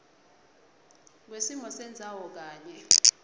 kwesimo sendzawo kanye